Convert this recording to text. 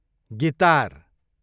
guitar